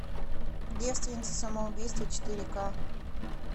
девственницы самоубийцы четыре к